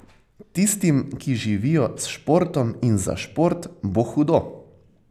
Tistim, ki živijo s športom in za šport, bo hudo.